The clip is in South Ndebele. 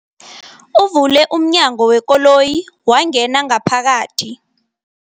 Uvule umnyango wekoloyi wangena ngaphakathi.